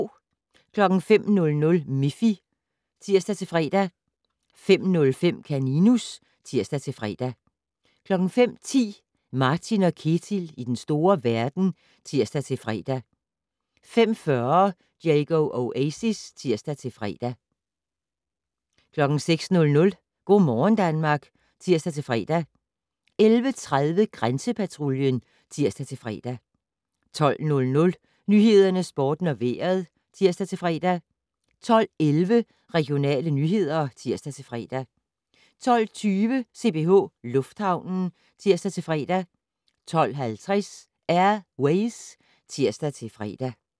05:00: Miffy (tir-fre) 05:05: Kaninus (tir-fre) 05:10: Martin & Ketil i den store verden (tir-fre) 05:40: Diego Oasis (tir-fre) 06:00: Go' morgen Danmark (tir-fre) 11:30: Grænsepatruljen (tir-fre) 12:00: Nyhederne, Sporten og Vejret (tir-fre) 12:11: Regionale nyheder (tir-fre) 12:20: CPH Lufthavnen (tir-fre) 12:50: Air Ways (tir-fre)